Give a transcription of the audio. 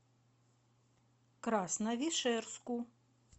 красновишерску